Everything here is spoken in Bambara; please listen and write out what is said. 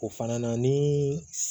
O fana ni